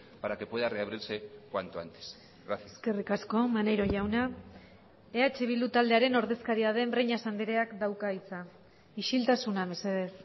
para que pueda reabrirse cuanto antes gracias eskerrik asko maneiro jauna eh bildu taldearen ordezkaria den breñas andreak dauka hitza isiltasuna mesedez